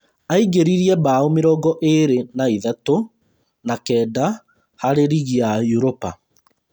Aingĩririe mbaũ mĩrongo ĩĩrĩ na ithatũ na kenda harĩ rigi ya Europa